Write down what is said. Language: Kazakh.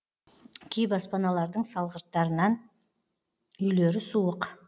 кей баспаналардың салғырттарынан үйлері суық